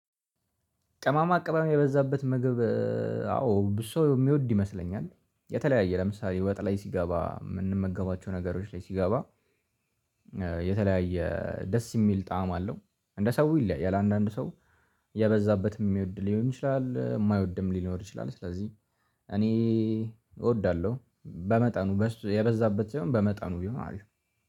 ቀማማ ቅመም የበዛበት ምግብ። አዎ ብዙ ሰው የሚወድ ይመስለኛል የተለያየ ለምሳሌ ወጥ ላይ ሲገባ ምንመገባቸው ነገሮች ላይ ሲገባ። የተለያየ ደስ የሚል ጣዕም አለው። እንደ ሰው ይለያያል አንዳንዱ ሰው የበዛበት የሚወድ ሊሆን ይችላል የማይወድም ሊኖር ይችላል። ስለዚህ እኔ እወዳለሁ በመጠኑ የበዛበት ሳይሆን በመጠኑ ቢሆን አሪፍ ነው